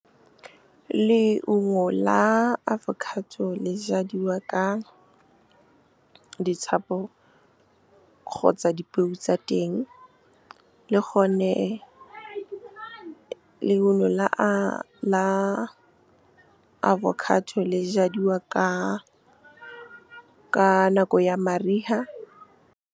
Leungo la avocado le jadiwa ka kgotsa dipeo tsa teng, le gone leungo la avocado le jadiwa ka nako ya mariga. Leungo la avocado le jadiwa ka kgotsa dipeo tsa teng, le gone leungo la avocado le jadiwa ka nako ya mariga.